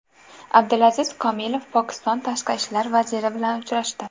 Abdulaziz Komilov Pokiston tashqi ishlar vaziri bilan uchrashdi.